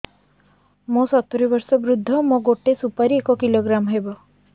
ମୁଁ ସତୂରୀ ବର୍ଷ ବୃଦ୍ଧ ମୋ ଗୋଟେ ସୁପାରି ଏକ କିଲୋଗ୍ରାମ ହେବ